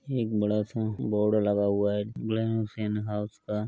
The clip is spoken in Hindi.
एक बड़ा सा बोर्ड लगा हुआ है हाउस का।